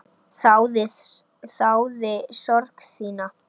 Þáði sorg þína.